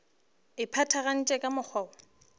e phethagatšwa ka mokgwa woo